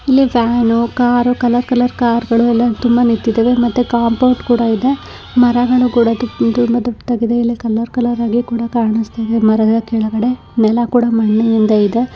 ಇಲ್ಲಿ van car colour colour ಕಾರ್ಗಳು ತುಂಬಾ ನಿಂತಿದಾವೆ ಮತ್ತೆ ಕಂಪೌನ್ಡ ಕುಡಾ ಇದೆ ಮರಗಳು ಕೂಡ ತುಂಬಾ ದೊಡ್ಡದಾಗಿ ಇದೆ ಇಲ್ಲಿ ಕಲರ್ ಕಲರ್ ಹಾಗಿ ಕೂಡ ಕಾಣಿಸುತ್ತಾ ಇದೆ ಮರದ ಕೆಳಗಡೆ ನೆಲ ಕೂಡ ಮಣ್ಣಿನಿಂದ ಇದೆ